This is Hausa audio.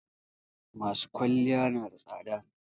masu kwalliya nada tsada